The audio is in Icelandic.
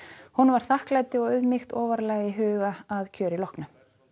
honum var þakklæti og auðmýkt ofarlega í huga að kjöri loknu